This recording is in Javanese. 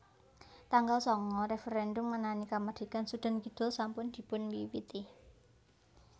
Tanggal sanga Referèndum ngenani kamardikan Sudan Kidul sampun dipun wiwiti